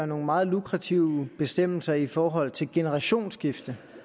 nogle meget lukrative bestemmelser i forhold til generationsskifte